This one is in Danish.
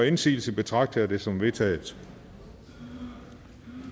indsigelse betragter jeg det som vedtaget